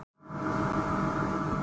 Getur verið mér þakklátur.